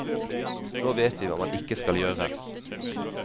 Nå vet vi hva man ikke skal gjøre.